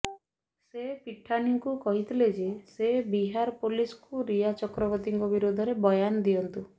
ସେ ପିଠାନୀଙ୍କୁ କହିଥିଲେ ଯେ ସେ ବିହାର ପୋଲିସକୁ ରିୟା ଚକ୍ରବର୍ତ୍ତୀଙ୍କ ବିରୋଧରେ ବୟାନ ଦିଅନ୍ତୁ